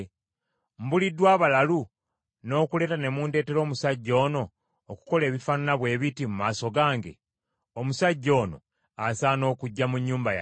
Mbuliddwa abalalu, n’okuleeta ne mundeetera omusajja ono okukola ebifaanana bwe biti mu maaso gange? Omusajja ono asaana okuggya mu nnyumba yange?”